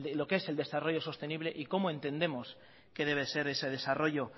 lo que es el desarrollo sostenible y cómo entendemos que debe ser ese desarrollo